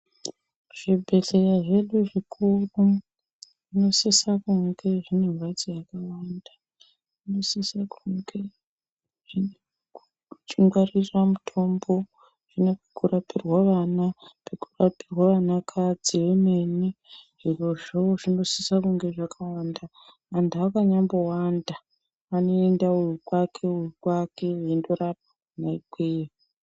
Zvibhedhleya zvedu zvikuru zvinosisa kunge zvine mhatso yakawanda. Zvinosisa kunge zvine kuchingwarira mutombo, zvine kunorapirwa vana, pekurapirwa vanakadzi vemene. Zvirozvo zvinosisa kunge zvakawanda, vantu vakanyambowanda vanoenda uyu kwake uyu kwake veindorapwa kwona ikweyo.